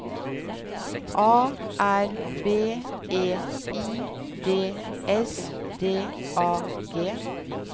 A R B E I D S D A G